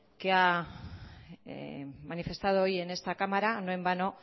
que ha manifestado hoy en esta cámara no en vano